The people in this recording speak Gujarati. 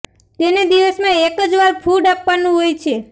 તેને દિવસમાં એક જ વાર ફૂડ આપવાનું હોય છે